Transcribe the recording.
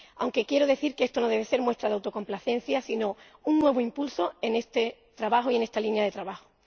Aunque quiero decir que esto no debe ser muestra de autocomplacencia, sino un nuevo impulso en este trabajo y en esta línea de trabajo.